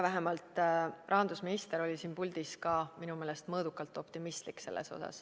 Vähemalt rahandusminister oli siin puldis minu meelest selles küsimuses mõõdukalt optimistlik.